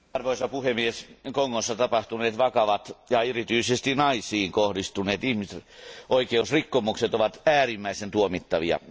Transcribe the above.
Arvoisa puhemies, Kongossa tapahtuneet vakavat ja erityisesti naisiin kohdistuneet ihmisoikeusrikkomukset ovat äärimmäisen tuomittavia.